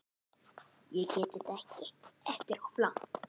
Völuspá birtir í skáldlegum sýnum heimsmynd og heimssögu heiðinna manna.